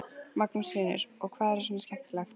Magnús Hlynur: Og hvað er svona skemmtilegt?